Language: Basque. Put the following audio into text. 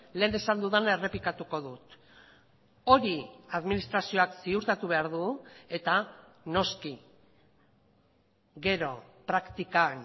lehen esan dudana errepikatuko dut hori administrazioak ziurtatu behar du eta noski gero praktikan